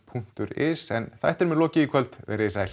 punktur is en þættinum er lokið verið þið sæl